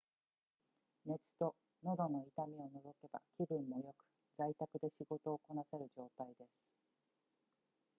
熱と喉の痛みを除けば気分も良く在宅で仕事をこなせる状態です